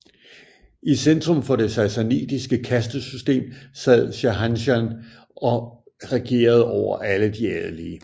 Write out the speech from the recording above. I centrum for det sassanidiske kastesystem sad Shahanshah og regerede over alle de adelige